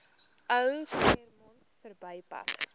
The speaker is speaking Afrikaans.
ou claremont verbypad